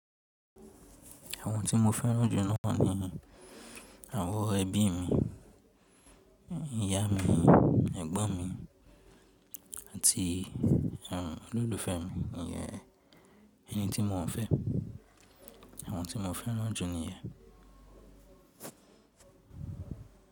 Àwọn tí mo fẹ́ràn jù náà ni àwọn ẹbí mi, ìyá mi, ẹ̀gbọ́n mi àti àwọn olólùfẹ́ mi, èyí ni ẹni tí mo n fẹ́. Àwọn tí mo fẹ́ràn jù ni yẹn.